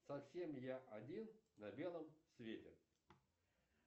совсем я один на белом свете